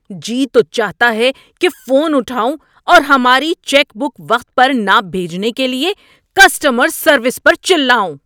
جی تو چاہتا ہے کہ فون اٹھاؤں اور ہماری چیک بک وقت پر نہ بھیجنے کے لیے کسٹمر سروس پر چلاؤں۔